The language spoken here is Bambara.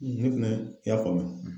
Ne fɛnɛ y'a faamu.